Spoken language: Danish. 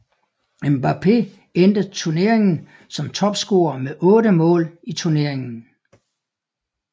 Mbappé endte tuneringen som topscorer med 8 mål i tuneringen